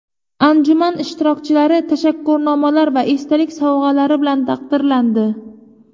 Anjuman ishtirokchilari tashakkurnomalar va esdalik sovg‘alari bilan taqdirlandi.